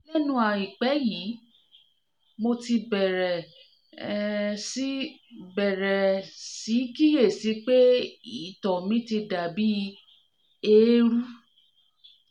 lẹ́nu àìpẹ́ yìí mo ti bẹ̀rẹ̀ um sí bẹ̀rẹ̀ um sí kíyè sí pé ìtọ̀ mi ti dà bí eérú